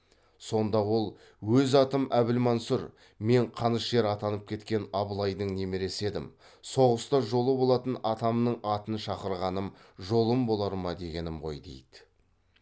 сонда ол өз атым әбілмансұр мен қанышер атанып кеткен абылайдың немересі едім соғыста жолы болатын атамның атын шақырғаным жолым болар ма дегенім ғой дейді